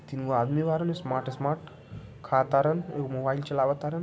तीनवा आदमी smart smart खा तारल व मोबाइल चलावा तारल।